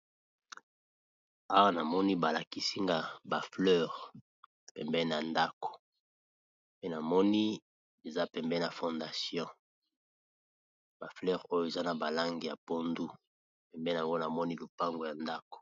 Awa na moni balakisi nga ba fleur pembenî na ndako. Pe na moni, eza pembenî na fondation. Ba fleur oyo, eza na ba langi ya pondu. Pembeni na ngo, na moni lopango ya ndako.